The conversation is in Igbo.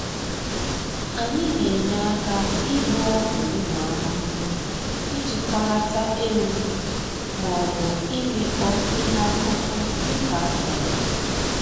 Anyị na-enye aka ịgba ọgwụ ụmụ ahụhụ, ijikọlata ewu, maọbụ ịmịkpọ ihe akụkụ dịka a chọrọ